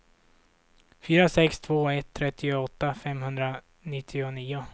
fyra sex två ett trettioåtta femhundranittionio